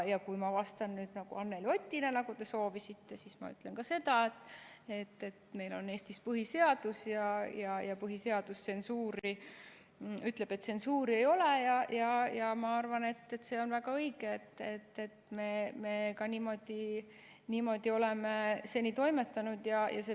Ja kui ma vastan nüüd Anneli Otina, nagu te soovisite, siis ma ütlen seda, et meil on Eestis põhiseadus ja põhiseadus ütleb, et tsensuuri ei ole, ja ma arvan, et see on väga õige, et me niimoodi oleme seni toimetanud.